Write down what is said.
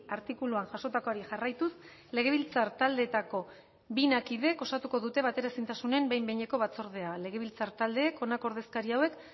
artikuluan jasotakoari jarraituz legebiltzar taldeetako bina kidek osatuko dute bateraezintasunen behin behineko batzordea legebiltzar taldeek honako ordezkari hauek